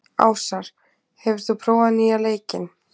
Ásar, hefur þú prófað nýja leikinn?